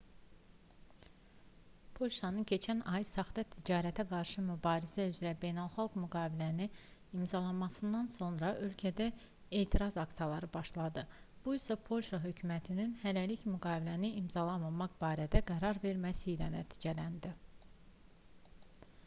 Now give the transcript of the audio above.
polşanın keçən ay saxta ticarətə qarşı mübarizə üzrə beynəlxalq müqaviləni imzalamasından sonra ölkədə etiraz aksiyaları başladı bu isə polşa hökumətinin hələlik müqaviləni imzalamamaq barədə qərar verməsi ilə nəticələndi